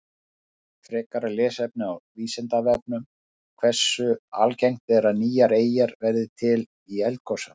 Frekara lesefni á Vísindavefnum: Hversu algengt er að nýjar eyjar verði til í eldgosum?